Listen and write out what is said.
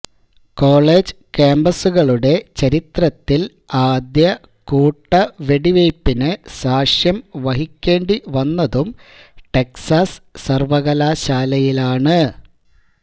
college കാമ്പസുകളുടെ ചരിത്രത്തില് ആദ്യ കൂട്ടവെടിവെയ്പ്പിന് സാക്ഷ്യം വഹിക്കേണ്ടി വന്നതും ടെക്സാസ് സര്വ്വകലാശാലയിലാണ്